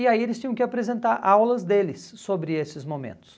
E aí eles tinham que apresentar aulas deles sobre esses momentos.